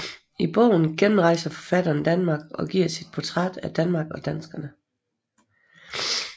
I bogen gennemrejser forfatteren Danmark og giver sit portræt af Danmark og danskerne